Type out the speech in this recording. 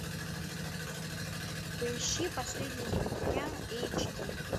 поищи последний из могикан эйч ди